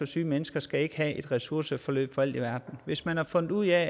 syge mennesker skal ikke have et ressourceforløb for alt i verden hvis man har fundet ud af